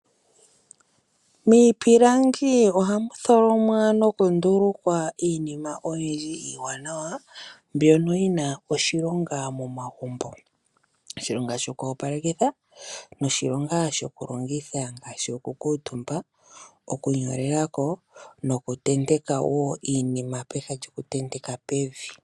Miipilangi oha mu tholomwa nokundulukwa iinima oyindji iiwanawa mbyono yi na oshilonga momagumbo, oshilonga shokwopalekitha noshilonga shokulongitha ngaashi okukutumba, okunyolelako nokutenteka wo iinima peha lyokutenteka pevi.